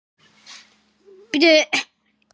Kosningarnar voru flóknar fyrir kjósendur